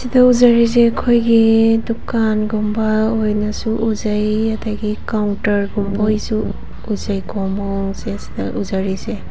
ꯎꯖꯔꯤꯖꯦ ꯑꯩꯈꯣꯏꯒꯤ ꯗꯨꯀꯥꯟ ꯒꯨꯝꯕ ꯑꯣꯏꯅꯁꯨ ꯎꯖꯩ ꯑꯗꯒꯤ ꯀ꯭ꯎꯥꯟꯇ꯭ꯔ ꯒꯨꯝꯕꯣꯏꯁꯨ ꯎꯖꯩ ꯀꯣ ꯃꯑꯣꯡꯁꯦ ꯁꯤꯗ ꯎꯖꯔꯤꯁꯦ꯫